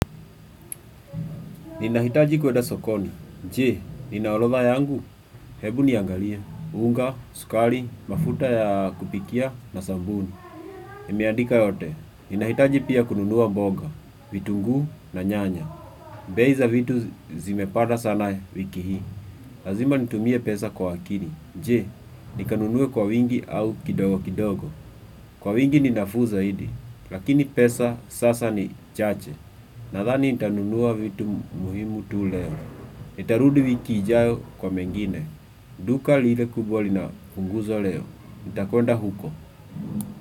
Ninahitaji kweda sokoni. Je, nina orodha yangu. Hebu niangalie. Unga, sukari, mafuta ya kupikia na sabuni. Nimeandika yote. Ninahitaji pia kununua mboga, vitunguu na nyanya. Bei za vitu zimepanda sana wiki hii. Lazima nitumie pesa kwa akili. Je, nikanunue kwa wingi au kidogo kidogo. Kwa wingi ni nafuu zaidi. Lakini pesa sasa ni chache. Nadhani nitanunua vitu muhimu tu leo. Nitarudi wiki ijayo kwa mengine. Duka lile kubwa lina punguzo leo. Nitakwenda huko.